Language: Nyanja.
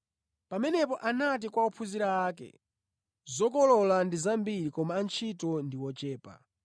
Pamenepo anati kwa ophunzira ake, “Zokolola ndi zambiri koma antchito ndi ochepa.